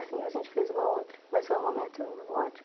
Assim, a gente fez uma outra, mas foi um momento ótimo.